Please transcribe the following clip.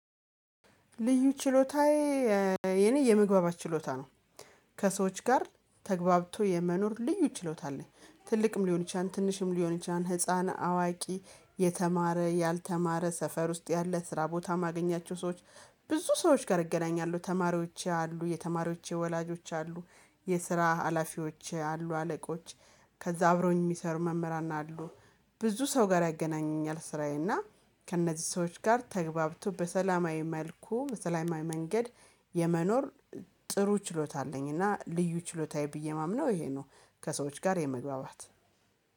ልዩ ችሎታዬ የኔ የመግባባት ችሎታ ነው። ከሰዎች ጋር ተግባብቶ የመኖር ልዩ ችሎታ አለኝ ትልቅም ሊሆን ይችላል ትንሽም ሊሆን ይችላል። ህፃን አዋቂ የተማረ ያልተማረ ሰፈር ውስጥ ያለ ስራ ቦታ ማገኛቸው ሰዎች። ብዙ ሰዎች ጋር እገናኛለሁ ተማሪዎች አሉ የተማሪዎች የወላጆች አሉ የስራ ሀላፊዎች አሉ አለቆች። ከዛ አብረውኝ የሚሰሩ መምህራን አሉ። ብዙ ሰው ጋር ያገናኘኛል ስራዬ እና ከእነዚህ ሰዎች ጋር ተግባብቶ በሰላማዊ መልኩ መሰላማዊ መንገድ የመኖር ጥሩ ችሎታ አለኝ። እና ልዩ ችሎታዬ ብዬ የማምነው ይሄ ነው። ከሰዎች ጋር የመግባባት